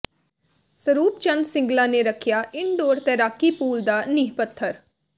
ਸਰੂਪ ਚੰਦ ਸਿੰਗਲਾ ਨੇ ਰੱਖਿਆ ਇਨਡੋਰ ਤੈਰਾਕੀ ਪੂਲ ਦਾ ਨੀਂਹ ਪੱਥਰ